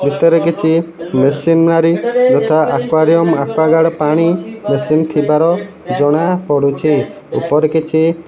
ଭିତରେ କିଛି ମେସିନାରୀ ଯଥା ଏକ୍ୱାରିମ୍ ଏକ୍ୱେଗାର୍ଡ ପାଣି ମେସିନ ଥିବାର ଜଣାପଡୁଛି ଉପରେ କିଛି --